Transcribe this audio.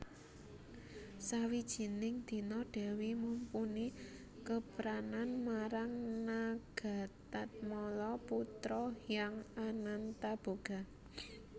Sawijining dina Dèwi Mumpuni kepranan marang Nagatatmala putra Hyang Anantaboga